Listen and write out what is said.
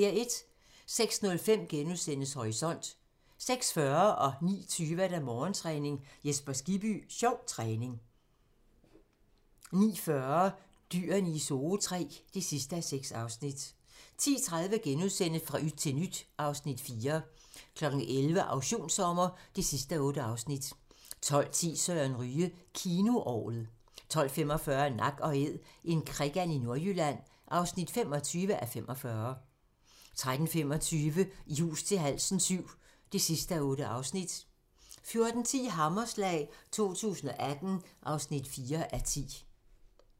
06:05: Horisont * 06:40: Morgentræning: Jesper Skibby - sjov træning 09:20: Morgentræning: Jesper Skibby - sjov træning 09:40: Dyrene i Zoo III (6:6) 10:30: Fra yt til nyt (Afs. 4)* 11:00: Auktionssommer (8:8) 12:10: Søren Ryge: Kinoorglet 12:45: Nak & Æd - en krikand i Nordjylland (25:45) 13:25: I hus til halsen VII (8:8) 14:10: Hammerslag 2018 (4:10)